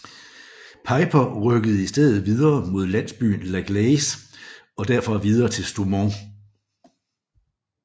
Peiper rykkede i stedet videre mod landsbyen La Gleize og derfra videre til Stoumont